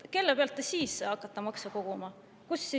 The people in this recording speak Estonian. Kellelt te siis hakkate maksu koguma?